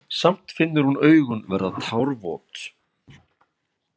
Samt finnur hún augun verða tárvot.